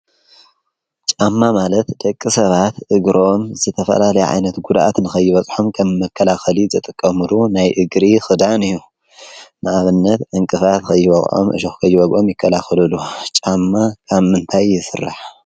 ጫማ ማለት ደቂ ሰባት እግሮም ዝተፈላለዩ ዓይነት ጕድኣት ንኸይበጽሖም ከም መከላኸሊ ዝጥቀሙሉ ናይ እግሪ ኽዳን እዮ። ንኣብነት ዕንቅፋት ኸይወቕዖም፣ እሾክ ከይወግኦም ይከላኸለሉ። ጫማ ካብ ምንታይ ይስራሕ?